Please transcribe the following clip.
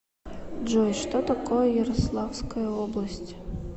джой что такое ярославская область